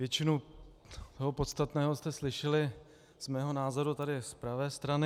Většinu toho podstatného jste slyšeli z mého názoru tady z pravé strany.